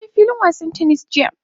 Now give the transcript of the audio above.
Na je filin wasan "tennis" jiya.